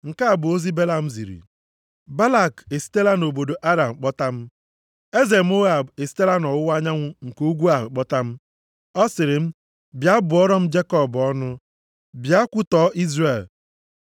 Nke a bụ ozi Belam ziri: “Balak esitela nʼobodo Aram kpọta m. Eze Moab esitela nʼọwụwa anyanwụ nke ugwu ahụ kpọta m. Ọ sịrị m, bịa bụọrọ m Jekọb ọnụ bịa kwutọọ Izrel.